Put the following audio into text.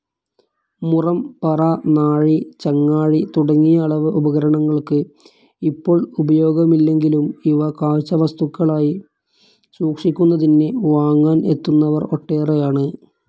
മുറം, പറ, നാഴി, ചങ്ങാഴി തുടങ്ങിയ അളവ് ഉപകരണങ്ങൾക്ക് ഇപ്പോൾ ഉപയോഗമില്ലെങ്കിലും ഇവ കാഴ്ചവസ്തുക്കളായി സൂക്ഷിക്കുന്നതിന് വാങ്ങാൻ എത്തുന്നവർ ഒട്ടേറെയാണ്.